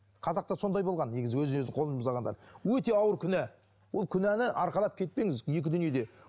қазақта сондай болған негізі өз өзіне қол жұмсағандар өте ауыр күнә ол күнәні арқалап кетпеңіз екі дүниеде